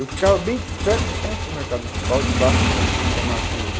Eu ficava bem perto de frente para o mercado municipal, debaixo de um de uma marquise do...